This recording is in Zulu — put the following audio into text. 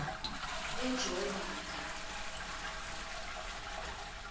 ejolbakha